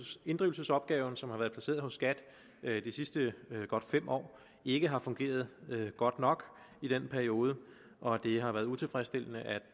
inddrivelsesopgaven som har været placeret hos skat de sidste godt fem år ikke har fungeret godt nok i den periode og det har været utilfredsstillende